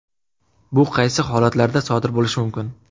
Bu qaysi holatlarda sodir bo‘lishi mumkin?